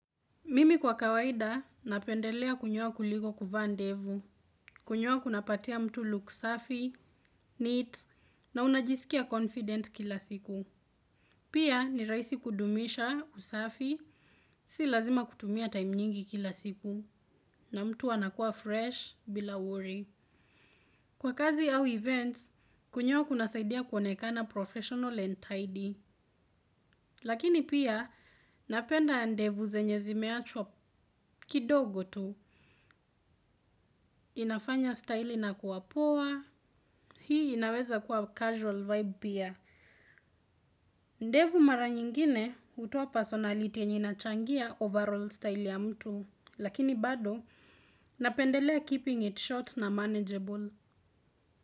Mimi kwa kawaida napendelea kunyoa kuliko kuvaa ndevu, kunyoa kunapatia mtu look safi, neat, na unajisikia confident kila siku. Pia ni raisi kudumisha usafi, si lazima kutumia time nyingi kila siku, na mtu anakuwa fresh bila worry. Kwa kazi au events, kunyoa kunasaidia kuonekana professional and tidy. Lakini pia napenda ndevu zenye zimeachwa kidogo tu. Inafanya style ina kuwapoa. Hii inaweza kuwa casual vibe pia. Ndevu mara nyingine utoa personality yenye inachangia overall style ya mtu. Lakini bado napendelea keeping it short na manageable.